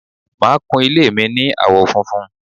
màá kún ilé mi ní àwọ̀ funfun